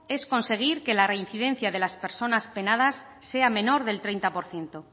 es conseguir que la reincidencia de las personas penadas sea menor del treinta por ciento